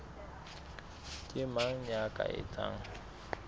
ke mang ya ka etsang